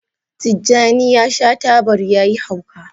Tjani ya sha tabar ya yi hauka